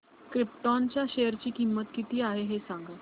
krypton च्या share ची किंमत किती आहे हे सांगा